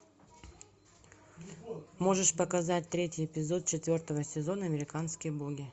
можешь показать третий эпизод четвертого сезона американские боги